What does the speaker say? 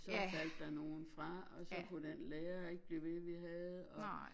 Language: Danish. Så faldt der nogen fra og så kunne den lærer ikke blive ved vi havde og